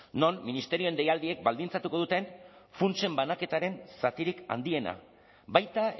non ministerioen deialdiek baldintzatuko duten funtsen banaketaren zatirik handiena baita